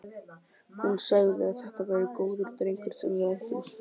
Hún sagði að þetta væri góður drengur sem við ættum.